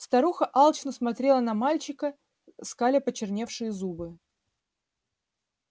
старуха алчно смотрела на мальчика скаля почерневшие зубы